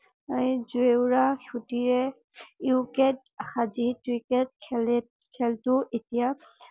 জেওঁৰা খুটিয়ে ইউকেট সাজি ক্ৰিকেট খেলে খেলতো এতিয়া